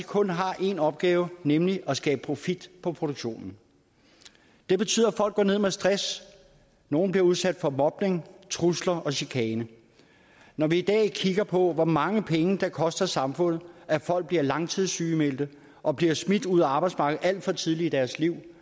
kun har én opgave nemlig at skabe profit på produktionen det betyder at folk går ned med stress nogle bliver udsat for mobning trusler og chikane når vi i dag kigger på hvor mange penge det koster samfundet at folk bliver langtidssygemeldt og bliver smidt ud af arbejdsmarkedet alt for tidligt i deres liv